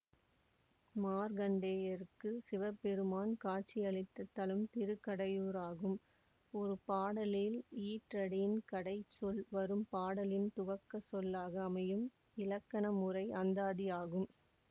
மார்க்கண்டேயருக்கு சிவபெருமான் காட்சியளித்த தலம் திருக்கடையூராகும் ஒரு பாடலின் ஈற்றடியின் கடைச்சொல் வரும் பாடலின் துவக்கச் சொல்லாக அமையும் இலக்கணமுறை அந்தாதி ஆகும்